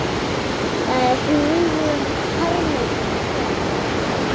Það er huggun harmi gegn.